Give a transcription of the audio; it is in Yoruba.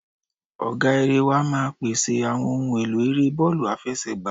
Ọ̀gá erée wa máa pẹ̀sẹ̀ àwọn ohun èlò eré bọ́ọ̀lù àfẹsẹ̀gbá.